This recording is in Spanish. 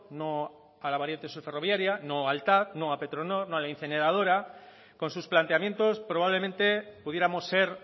no a la variante sur ferroviaria no al tav no a petronor no a la incineradora con sus planteamientos probablemente pudiéramos ser